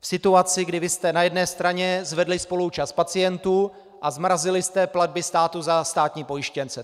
V situaci, kdy vy jste na jedné straně zvedli spoluúčast pacientů a zmrazili jste platby státu za státní pojištěnce.